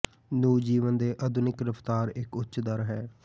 ਨੂੰ ਜੀਵਨ ਦੇ ਆਧੁਨਿਕ ਰਫਤਾਰ ਇੱਕ ਉੱਚ ਦਰ ਹੈ